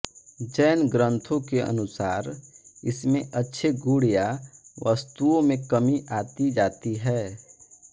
जैन ग्रंथों के अनुसार इसमें अच्छे गुण या वस्तुओं में कमी आती जाती है